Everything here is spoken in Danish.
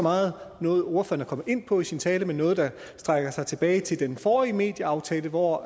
meget noget ordføreren kom ind på i sin tale men noget der rækker tilbage til den forrige medieaftale hvor